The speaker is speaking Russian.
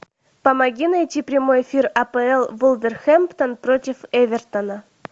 помоги найти прямой эфир апл вулверхэмптон против эвертона